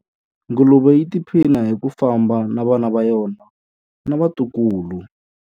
Nguluve yi tiphina hi ku famba na vana va yona na vatukulu.